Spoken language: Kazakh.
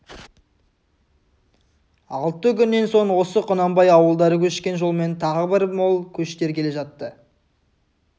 алты күннен соң осы құнанбай ауылдары көшкен жолмен тағы бір мол көштер келе жатты